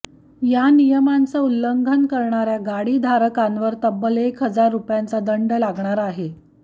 या नियमाचं उल्ल्ंघन करणाऱ्या गाडीधारकांवर तब्बल एक हजार रुपयांचा दंड लागणार आहे